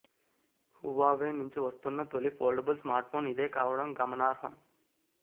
Huawei నుంచి వస్తున్న తొలి ఫోల్డబుల్ స్మార్ట్ఫోన్ ఇదే కావడం గమనార్హం